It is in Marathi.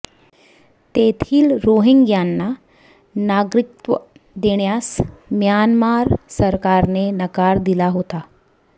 तेथील रोहिंग्यांना नागरिकत्व देण्यास म्यानमार सरकारने नकार दिला होता